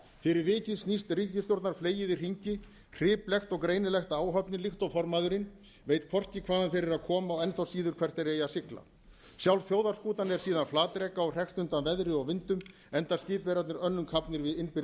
fyrir vikið snýst ríkisstjórnarfleyið í hringi hriplekt og greinilegt að áhöfnin líkt og formaðurinn veit hvorki hvaðan þeir eru að koma og enn þá síður hvert meiri eigi að sigla sjálf þjóðarskútan er síðan flatreka og hrekst undan veðri og vindum enda skipverjarnir önnum kafnir við innbyrðis